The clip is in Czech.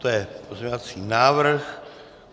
To je pozměňovací návrh.